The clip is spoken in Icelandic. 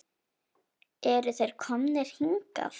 Eru þeir komnir hingað?